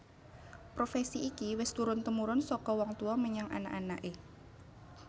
Profesi iki wis turun tumurun saka wong tuwa menyang anak anaké